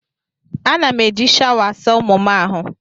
Ana m eji shawa asa ụmụ m ahụ.